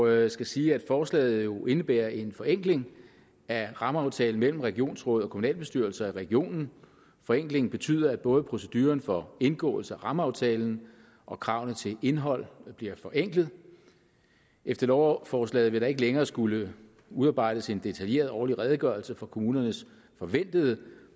jeg skal sige at forslaget jo indebærer en forenkling af rammeaftalen mellem regionsråd og kommunalbestyrelser i regionen forenklingen betyder at både proceduren for indgåelse af rammeaftalen og kravene til indhold bliver forenklet efter lovforslaget vil der ikke længere skulle udarbejdes en detaljeret årlig redegørelse for kommunernes forventede